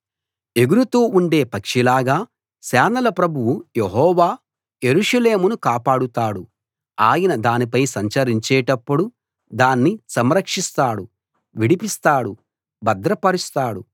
ఎగురుతూ ఉండే పక్షిలాగా సేనల ప్రభువు యెహోవా యెరూషలేమును కాపాడుతాడు ఆయన దానిపై సంచరించేటప్పుడు దాన్ని సంరక్షిస్తాడు విడిపిస్తాడు భద్రపరుస్తాడు